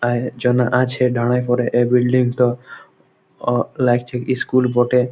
আ জনা আছে দারাই পড়ে এ বিল্ডিং টো ও লাগছে ইস্কুল বটে --